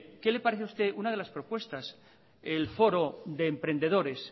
qué le parece a usted una de las propuestas el foro de emprendedores